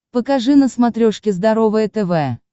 покажи на смотрешке здоровое тв